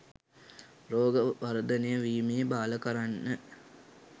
රෝගය වර්ධනය වීම බාල කරන්න